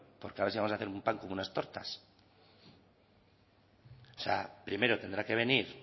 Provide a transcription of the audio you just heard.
porque si vamos a hacer un pan con unas tortas o sea primero tendrá que venir